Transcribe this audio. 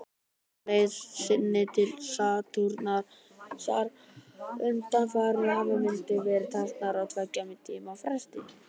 Á leið sinni til Satúrnusar undanfarið hafa myndir verið teknar á tveggja tíma fresti.